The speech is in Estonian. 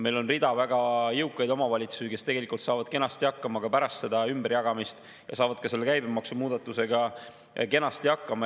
Meil on rida väga jõukaid omavalitsusi, kes tegelikult saavad kenasti hakkama ka pärast seda ümberjagamist ja saavad ka selle käibemaksumuudatusega kenasti hakkama.